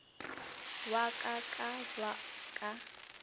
wa ka ka ba ka